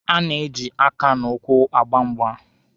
A na-eji aka na ụkwụ agba mgba.